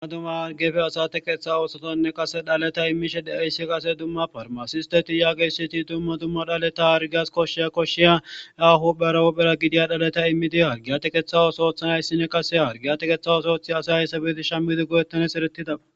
Dumma dumma harggeppe asa teqeththa oosothanne qase dhaleta immishe de7iyayssi qase dumma parmasiste yagiyasati dumma dumma dhaleta hargiyas koshshiya koshshiya ahu barawuphera gidiya dhaleta immidi hargiya teqeththa oso oothanayssinne qase hargiya tekeeththa oso oothiyasay hayssa beti shammidi go7ettanys eretida.